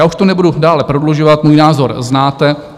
Já už to nebudu dále prodlužovat, můj názor znáte.